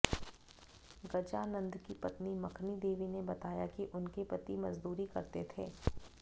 गजानंद की पत्नी मखनी देवी ने बताया कि उनके पति मजदूरी करते थे